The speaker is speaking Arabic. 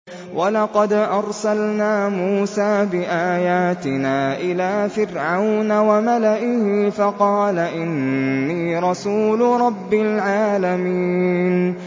وَلَقَدْ أَرْسَلْنَا مُوسَىٰ بِآيَاتِنَا إِلَىٰ فِرْعَوْنَ وَمَلَئِهِ فَقَالَ إِنِّي رَسُولُ رَبِّ الْعَالَمِينَ